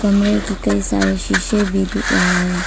कमरे की कई सारे शीशे भी दिख रहा है।